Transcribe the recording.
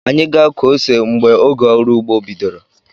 Anyi ga-akụ ose mgbe oge ọrụugbo bidoro